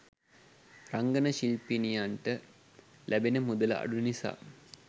රංගන ශිල්පිනියන්ට ලැබෙන මුදල අඩු නිසා